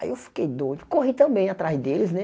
Aí eu fiquei doido, corri também atrás deles, né?